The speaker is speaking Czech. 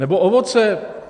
Nebo ovoce.